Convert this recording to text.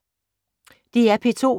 DR P2